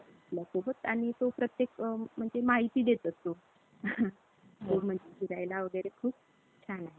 आपल्यासोबत आणि तो प्रत्येक म्हणजे माहिती देत असतो. म्हणजे फिरायला वगैरे खूप छान आहे.